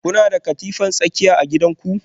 Kuna da katifar tsakiya a gidanku?